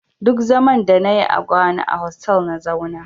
Duk zaman da na yi a Ghana a hotal na zauna